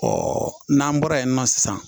n'an bɔra yen nɔ sisan